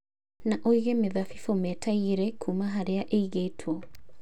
Na ũige mĩthabibũ meta ĩgĩrĩ kuuma harĩa ĩigĩtwo